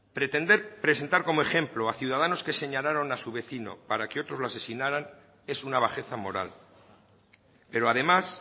pretender presentar como ejemplo a ciudadanos que señalaron a su vecino para que otros lo asesinaran es una bajeza moral pero además